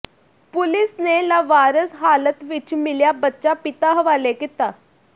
police ਨੇ ਲਾਵਾਰਸ ਹਾਲਤ ਵਿੱਚ ਮਿਲਿਆ ਬੱਚਾ ਪਿਤਾ ਹਵਾਲੇ ਕੀਤਾ